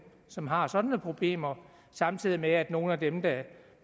som har sådanne problemer samtidig med at nogle af dem der